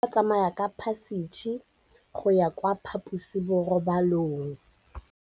Bana ba tsamaya ka phašitshe go ya kwa phaposiborobalong.